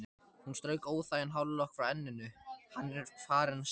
Hún strauk óþægan hárlokk frá enninu: Hann er farinn suður